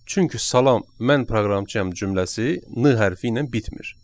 Çünki Salam, mən proqramçıyam cümləsi N hərfi ilə bitmir.